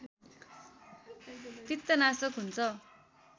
पित्तनाशक हुन्छ